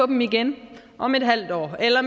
dem igen om et halvt år eller